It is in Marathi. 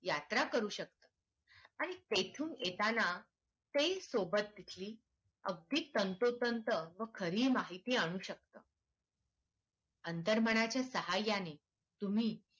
यात्रा करू शकता आणि तिथून येताना काही सोबत तिची अगदी तंतोतंत खरी माहिती आणू शकता अंतर्मनाच्या सहाय्या ने तुम्ही